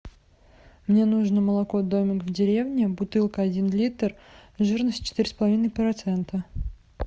мне нужно молоко домик в деревне бутылка один литр жирность четыре с половиной процента